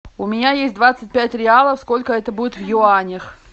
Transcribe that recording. у меня есть двадцать пять реалов сколько это будет в юанях